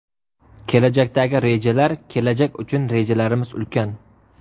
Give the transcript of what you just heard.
Kelajakdagi rejalar Kelajak uchun rejalarimiz ulkan.